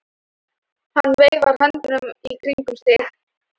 Hann veifar höndunum í kringum sig.